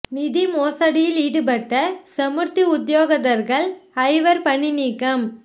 நிதி மோசடியில் ஈடுபட்ட சமுர்த்தி உத்தியோகத்தர்கள் ஐவர் பணி நீக்கம்